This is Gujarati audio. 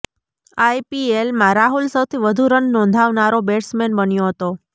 આઈપીએલમાં રાહુલ સૌથી વધુ રન નોંધાવનારો બેટ્સમેન બન્યો હતો